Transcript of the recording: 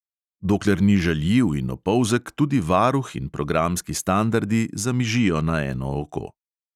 Dokler ni žaljiv in opolzek, tudi varuh in programski standardi zamižijo na eno oko.